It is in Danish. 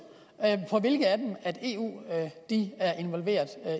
fra hvilke af dem eu er involveret